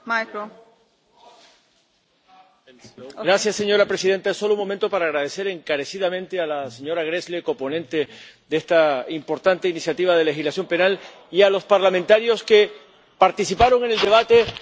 Señora presidenta, solo un momento para agradecer encarecidamente a la señora Gräßle, coponente de esta importante iniciativa de legislación penal, y a los parlamentarios que participaron en el debate, nada menos, que pasada la medianoche de esta misma madrugada